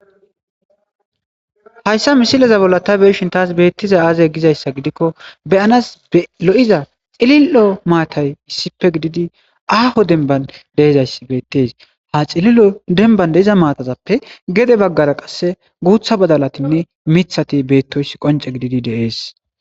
hayssa misileza bolla ta beyishin tas beettizay aaze gizayssa gidikko beyanas lo7iza xilil7o maatay issippe gididi aaho denban de7izayssi beettes ha xili7o denban de7iza maatazappe gede baggara qasse guutha badalatinne mithati beettoyoyis qonce gididi de7ees